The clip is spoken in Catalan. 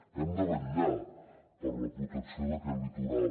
hem de vetllar per la protecció d’aquest litoral